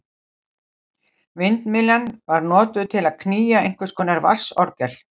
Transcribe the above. Vindmyllan var notuð til að knýja einhvers konar vatnsorgel.